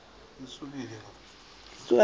a tsena ka gare ga